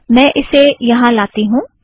मैं उसे यहाँ लाती हूँ